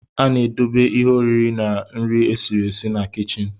A na-edobe ihe oriri na nri esiri esi na kichin